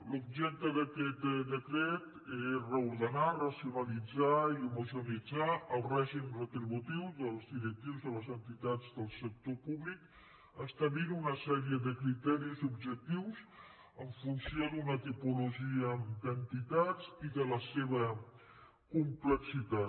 l’objecte d’aquest decret és reordenar racionalitzar i homogeneïtzar el règim retributiu dels directius de les entitats del sector públic establint una sèrie de criteris objectius en funció d’una tipologia d’entitats i de la seva complexitat